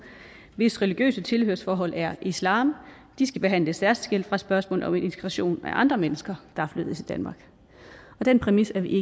hvis religiøse tilhørsforhold er islam skal behandles særskilt fra spørgsmål om integration af andre mennesker der er flyttet til danmark og den præmis er vi i